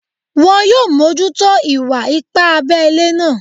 Wọn yóò mójútó ìwà ipá abẹ́lẹ́ náà